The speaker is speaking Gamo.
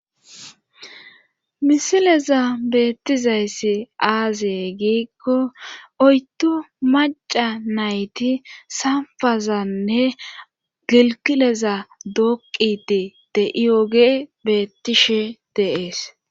Misilezan beettizay aaze giikko oyddu macca nayti samppazaannne gilggileza dooqqiddi de7oyogey beettishe de7ees.